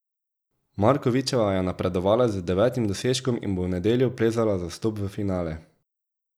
Markovičeva je napredovala z devetim dosežkom in bo v nedeljo plezala za vstop v finale.